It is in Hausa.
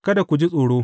Kada ku ji tsoro.